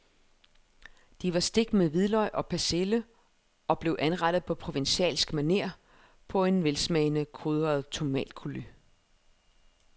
De var stegt med hvidløg og persille og blev anrettet på provencalsk maner på en velsmagende krydret tomatcoulis.